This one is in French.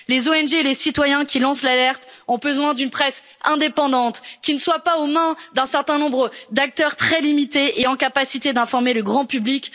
Les ONG et les citoyens qui lancent l'alerte ont besoin d'une presse indépendante, qui ne soit pas aux mains d'un certain nombre très limité d'acteurs et qui soit en capacité d'informer le grand public.